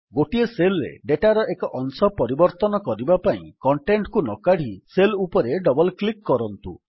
ଗୋଟିଏ ସେଲ୍ ରେ ଡେଟାର ଏକ ଅଂଶ ପରିବର୍ତ୍ତନ କରିବା ପାଇଁ କଣ୍ଟେଣ୍ଟ୍ କୁ ନକାଢ଼ି ସେଲ୍ ଉପରେ ଡବଲ୍ କ୍ଲିକ୍ କରନ୍ତୁ